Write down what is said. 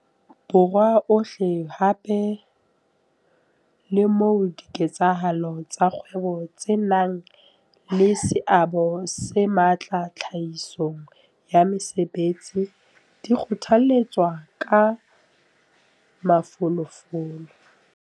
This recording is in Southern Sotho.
Borwa ohle hape le moo diketsahalo tsa kgwebo tse nang le seabo se matla tlhahisong ya mesebetsi di kgothaletswang ka mafolofolo.